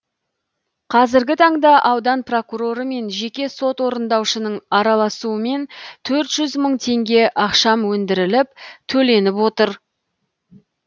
қазіргі таңда аудан прокуроры мен жеке сот орындаушының араласуымен төрт жүз мың тенге ақшам өндіріліп төленіп отыр